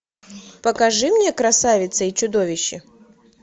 покажи мне красавица и чудовище